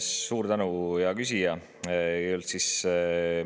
Suur tänu, hea küsija!